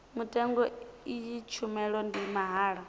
mutengo iyi tshumelo ndi mahala